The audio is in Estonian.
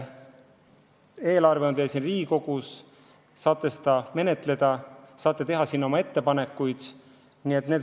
Eelarve on teil siin Riigikogus, te saate seda menetleda ja oma ettepanekuid teha.